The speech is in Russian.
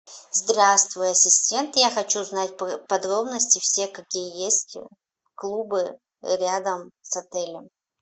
здравствуй ассистент я хочу знать подробности все какие есть клубы рядом с отелем